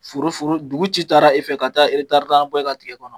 Foro dugu ci taara e fɛ ka taa taari naani bɔ e ka foro kɔnɔ.